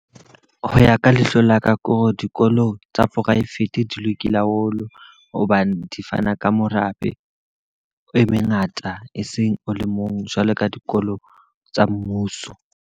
Ho ya ka lehlo la ka ko dikolo tsa private di lokile haholo. Hobane di fana ka morabe o e mengata, e seng o le mong jwalo ka dikolo tsa mmuso.